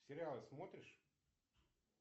сериалы смотришь